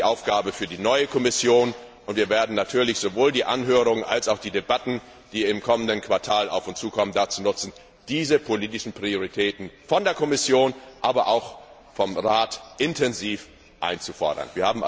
Das ist die Aufgabe für die neue Kommission, und wir werden natürlich sowohl die Anhörungen als auch die Debatten, die im kommenden Quartal auf uns zukommen, dazu nutzen, diese politischen Prioritäten von der Kommission, aber auch vom Rat intensiv einzufordern.